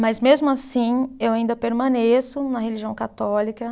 Mas, mesmo assim, eu ainda permaneço na religião católica.